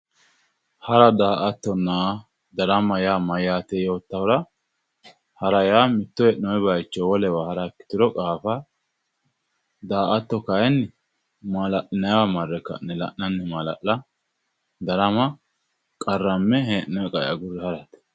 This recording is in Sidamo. Hara, daa"attonna darama maati yoottahura, hara yaa mittto hee'nonni bayichinni wole bayicho hara ikkituro woyi qaafa, daa"atto kayinni mala'linanniwa marre ka'ne mala'la, darama qarrame hee'nonni qae agurre hara.